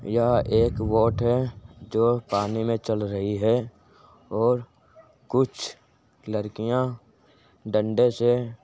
यहा एक बोट है जो पानी में चल रही है और कुछ लड़कियां डंडे से --